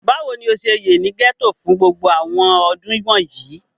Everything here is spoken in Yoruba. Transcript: Bawo ni o ṣe ye ni gẹto fun gbogbo àwọn ọdun wọnyi?